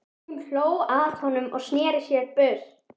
Hún hló að honum og sneri sér burt.